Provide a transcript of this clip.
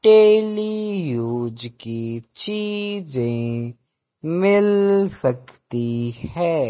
Daily use की चीजें मिल सकती है।